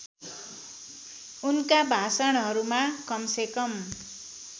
उनका भाषणहरूमा कमसेकम